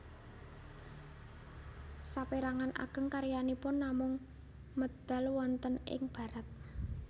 Sapérangan ageng karyanipun namung medal wonten ing Barat